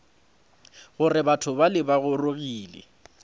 gore batho bale ba gorogile